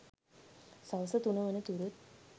සවස තුන වන තුරුත්